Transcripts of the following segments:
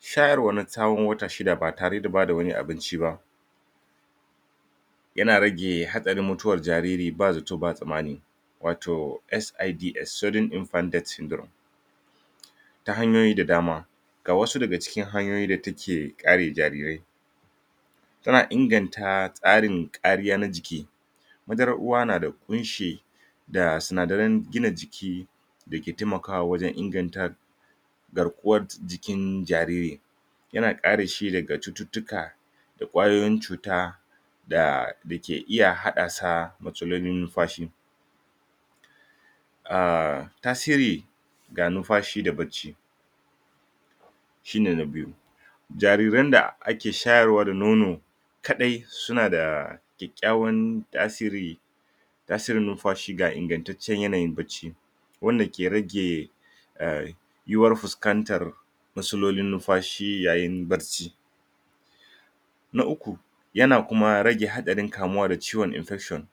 Shayarwa na tsaawon wata shida ba tareda bada wani abinci baa yana rage haɗarin mutuwar jariri ba zato ba tsanmani wato SID[ Sudden Infant Death Syndrome] ta hanyoyi da dama ga wasu daga cikin hanyoyi da ta ke ƙare jarirai suna inganta tsarin ƙariya na jiki madarar uwa na da kunshi da sinadaran gina jiki da ke taimakawa wajan inganta garƙuwar jikin jariri yana ƙareshi daga cututtuka da kwayoyin cua da dake iya haɗaasa matsalolin nunfashi ah tasiri ga nunfashi da bacci shine na biyu jariran da ake shayarwa da nono kaɗai suna da kyaƙyawan tasiri tasirin nunfashi ga ingantaccen yanayin bacci wanda ke rage em yiwuwar fuskantar masulolin nunfashi yayin barci. Na uku, yana kuma rage haɗarin kamuwa da ciwon infection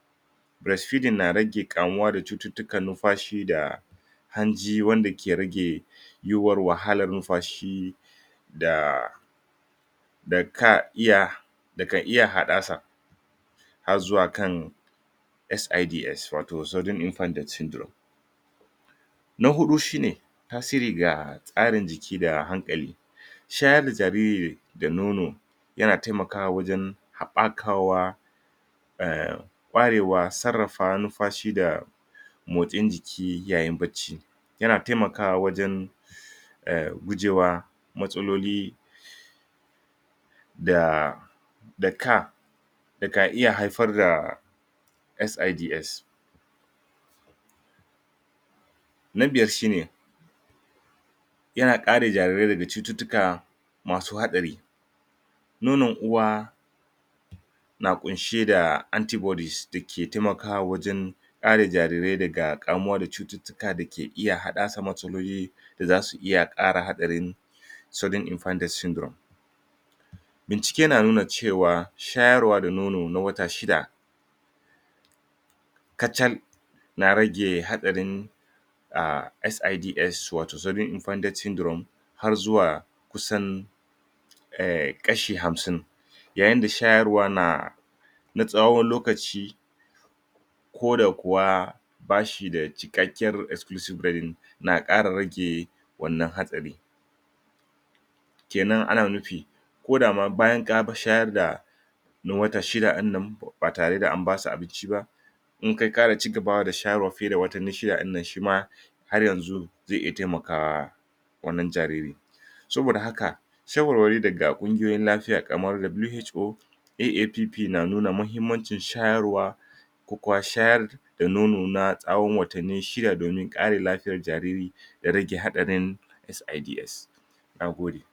breast feeding na rage ƙamuwa da cututtukan nunfashi ga hanji wanda ke rage yiwuwar wahalar nunfashi ga da ka iya daga iya haɗaasa har zuwa kan SIDs wato Sudden Infant Death Syndrome. Na huɗu shine tasiri ga tsarin jiki da hanƙali shayar da jariri da nono yana taimakawa wajan haɓɓakawa em barewa sarrafa nunfashi da motsin jiki yayin baacci yana taimakawa wajan em gujewa matsaloli da da ka da ka iya haifar da SIDs. Na biyar shine yana ƙare jarirai daga cututtuka masu haɗari nonon uwa na ƙunshe da anti-bodies da ke taimakawa wajan ƙare jarirai daga ƙamuwa da cututtuka da ke iya haɗaasa matsaloli da zasu iya ƙara haɗarin Sudden Infant Death Syndrome bincike na nuna cewa shayarwa da nono na wata shida kachal na rage haɗarin em SIDs wato Sudden Infant Death Syndrome har zuwa kusan em ƙashi hamsin yayinda shayarwa na na tsawon lokaci ko da kuwa ba shida cikakyar exclusive na ƙara rage wannan hatsari. Kenan ana nupi koda ma bayan ka shayar da na wata shida ɗinnan ba tareda an basu abinci ba in kai ƙara cigabawa da shayarwa fiye da watanni shida dinnan shima har yanzu ze iya taimakawa wannan jariri saboda haka shawarwari daga ƙungiyoyin lafiya ƙamar WHO AAPP na nuna mahimmancin shayarwa shayar da nono na tsawon watanni shida domim ƙare lafiyar jariri da rage haɗarin SIDs nagode.